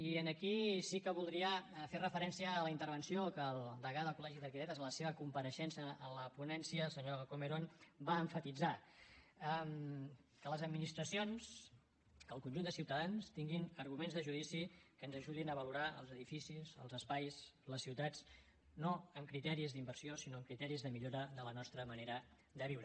i aquí sí que voldria fer referència a la intervenció que el degà del col·legi d’arquitectes en la seva compareixença en la ponència el senyor comerón va emfatitzar que les administracions que el conjunt de ciutadans tinguin arguments de judici que ens ajudin a valorar els edificis els espais les ciutats no amb criteris d’inversió sinó amb criteris de millora de la nostra manera de viure